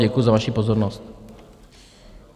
Děkuju za vaši pozornost.